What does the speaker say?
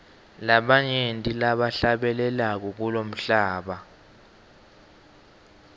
banyenti labahlabelako kulomhlaba